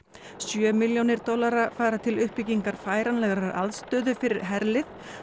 sjö milljónir dollara fara til uppbyggingar færanlegrar aðstöðu fyrir herlið